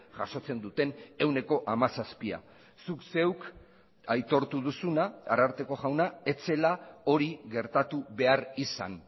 jasotzen duten ehuneko hamazazpia zuk zeuk aitortu duzuna ararteko jauna ez zela hori gertatu behar izan